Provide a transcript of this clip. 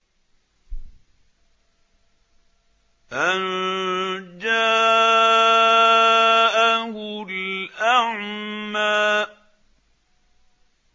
أَن جَاءَهُ الْأَعْمَىٰ